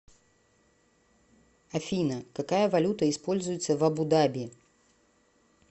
афина какая валюта используется в абу даби